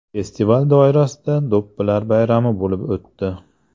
Festival doirasida do‘ppilar bayrami bo‘lib o‘tdi.